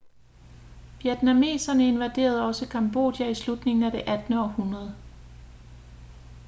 vietnameserne invaderede også cambodja i slutningen af det 18. århundrede